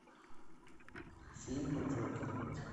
фильмы джокер